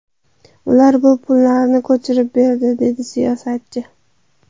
Ular bu pullarni ko‘chirib berdi”, dedi siyosatchi.